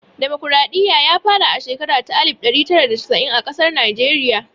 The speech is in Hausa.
Damokaraɗiya ya fara a shekara ta alif ɗari tara da casa'in a ƙasar Najeriya